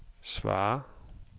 svar